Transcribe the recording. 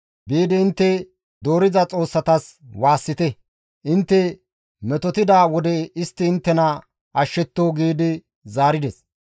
Biidi intte doorida xoossatas waassite; intte metotida wode istti inttena ashshetto» giidi zaarides.